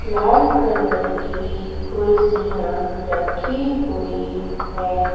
लाल colour की कुर्सियां रखी हुई है।